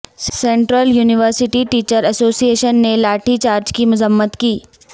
central university teacher association نے lathi charge کی مذمت کی